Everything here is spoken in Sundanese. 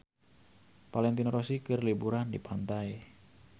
Valentino Rossi keur liburan di pantai